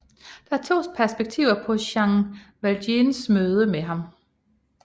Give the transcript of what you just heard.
Der er to perspektiver på Jean Valjeans møde med ham